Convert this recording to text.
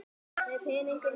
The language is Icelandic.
Með peningunum þínum.